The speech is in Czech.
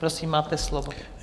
Prosím, máte slovo.